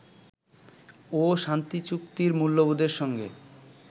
ও শান্তিচুক্তির মূল্যবোধের সঙ্গে